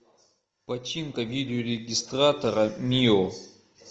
починка видеорегистратора мио